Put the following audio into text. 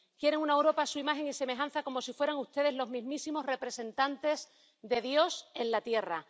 Quieren una Europa a su imagen y semejanza, como si fueran ustedes los mismísimos representantes de Dios en la tierra.